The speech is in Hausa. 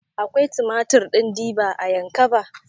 Akwai tumatir ɗin diba a ƴankaba?